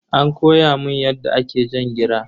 An koya mun yadda ake jan gira.